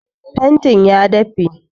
Fentin ya dafe